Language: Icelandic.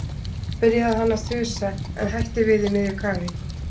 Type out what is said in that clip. .- byrjaði hann að þusa en hætti við í miðju kafi.